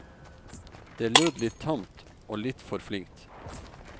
Det lød litt tamt og litt for flinkt.